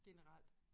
Generelt